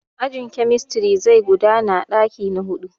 Ajin kemistiri zai gudana a ɗaki na huɗu.